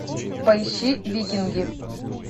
поищи викинги